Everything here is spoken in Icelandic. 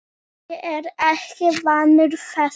Ég er ekki vanur þessu.